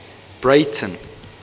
breyten